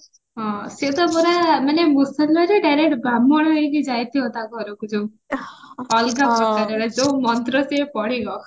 ହଁ ସିଏ ତ ପୁରା ମାନେ ମୁସଲମାନରୁ direct ବ୍ରାହ୍ମଣ ହେଇକି ଯାଇଥିବ ତା ଘରକୁ ଯୋଉ ଅଲଗା ପ୍ରକାରର ଯୋଉ ମନ୍ତ୍ର ସିଏ ପଢିବ